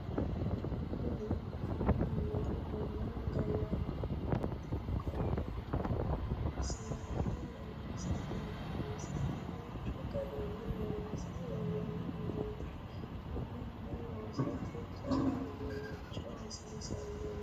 Kuni minehonna gallanni mineeti konne mine seekkine loonse biifinse duuchu garinni loonse worroonni mineeti konne mine loosate jawu uduunni hasiisanno